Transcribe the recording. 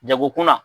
Jagokunna